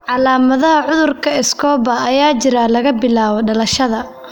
Calaamadaha cudurka Escobar ayaa jira laga bilaabo dhalashada.